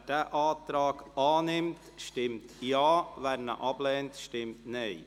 Wer diesen Antrag annimmt, stimmt Ja, wer diesen ablehnt, stimmt Nein.